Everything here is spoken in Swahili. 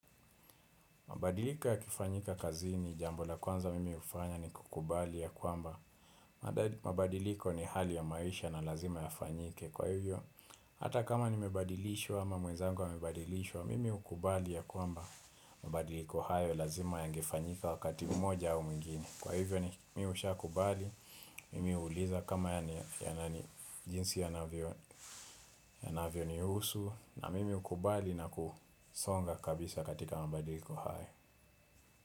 Mabadiliko yakifanyika kazini jambo la kwanza mimi hufanya ni kukubali ya kwamba. Mabadiliko ni hali ya maisha na lazima ya fanyike. Kwa hivyo, hata kama nimebadilishwa ama mwenzangu amebadilishwa, mimi hukubali ya kwamba mabadiliko hayo lazima yangefanyika wakati mmoja au mwingine. Kwa hivyo ni mimi ushakubali, mimi huuliza kama jinsi yanavyo yanavyonihusu na mimi hukubali na kusonga kabisa katika mabadiliko hayo.